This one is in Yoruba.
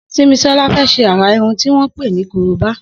Simisola fè ṣé árá irùn tiwọn pé ni kóróbá